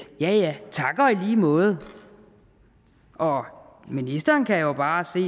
ja ja tak og lige måde og ministeren kan jo bare se